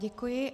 Děkuji.